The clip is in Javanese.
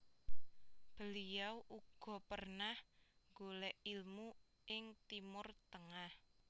Beliau uga pernah golèk ilmu ing Timur Tengah